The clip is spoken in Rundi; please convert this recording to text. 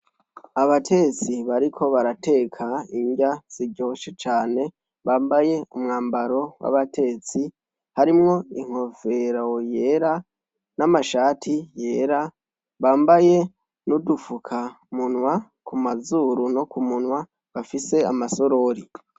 Abatetsi bariko barateka inrya ziryoshe cane bambaye umwambaro w' abatetsi harimwo inkofero yera n' amashati yera bambaye n' udufukamunwa ku amazuru no kumunwa bafise amasorori.